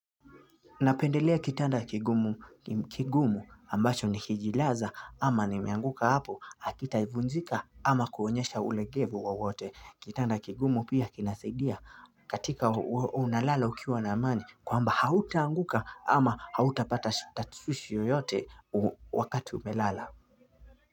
Napendelea kitanda kigumu ambacho nikijilaza ama nimeanguka hapo hakitaivunjika ama kuonyesha ulegevu wowote. Kitanda kigumu pia kinasaidia katika unalala ukiwa na amani kwamba hautaanguka ama hauta pata tashwishwi yoyote wakati umelala.